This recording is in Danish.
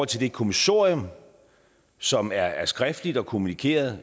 til det kommissorium som er er skriftligt og kommunikeret